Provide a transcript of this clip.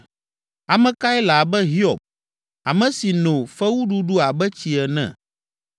Ame kae le abe Hiob, ame si no fewuɖuɖu abe tsi ene?